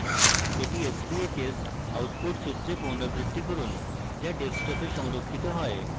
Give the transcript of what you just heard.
এটি sbhs output চিত্রে পুনরাবৃত্তি করুন যা ডেস্কটপে সংরক্ষিত হয়